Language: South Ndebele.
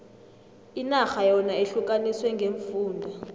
inarha yona ihlukaniswe ngeemfunda